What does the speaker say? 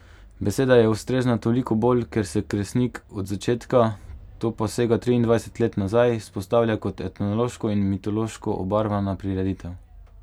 Beseda je ustrezna toliko bolj, ker se Kresnik od začetka, to pa sega triindvajset let nazaj, vzpostavlja kot etnološko in mitološko obarvana prireditev.